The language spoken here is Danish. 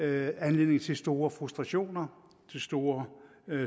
anledning til store frustrationer og til store